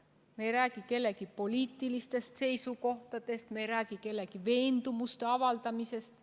Me ei räägi kellegi poliitilistest seisukohtadest, me ei räägi kellegi veendumuste avaldamisest.